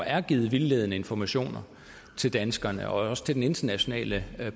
er givet vildledende informationer til danskerne og også til den internationale